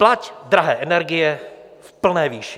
Plať drahé energie v plné výši!